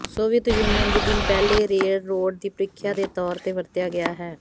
Soviet Union ਦੇ ਦਿਨ ਪਹਿਲੇ ਰੇਲਰੋਡ ਦੀ ਪਰੀਖਿਆ ਦੇ ਤੌਰ ਤੇ ਵਰਤਿਆ ਗਿਆ ਹੈ